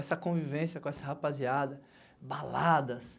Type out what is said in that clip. Essa convivência com essa rapaziada, baladas